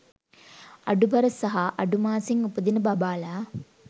අඩුබර සහ අඩු මාසෙන් උපදින බබාලා